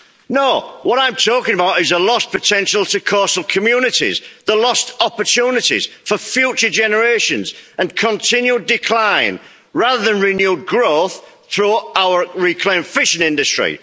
No, what I'm talking about is the lost potential to coastal communities, the lost opportunities for future generations, and the continued decline rather than renewed growth through our reclaimed fishing industry.